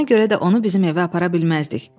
Ona görə də onu bizim evə apara bilməzdik.